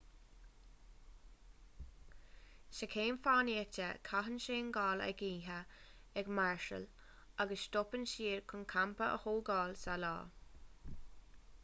sa chéim fánaíochta caitheann seangáil an oíche ag máirseáil agus stopann siad chun campa a thógáil sa lá